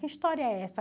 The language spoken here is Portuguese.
Que história é essa?